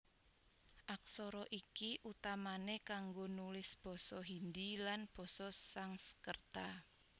Aksara iki utamané kanggo nulis basa Hindi lan basa Sangskreta